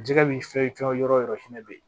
Jɛgɛ min fɛn fɛn yɔrɔ o yɔrɔ fɛnɛ bɛ yen